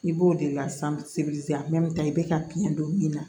I b'o de lasanse a mɛ i bɛ ka biɲɛn don min na